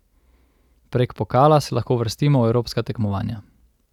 Prek pokala se lahko uvrstimo v evropska tekmovanja.